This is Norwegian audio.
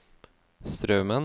Straumen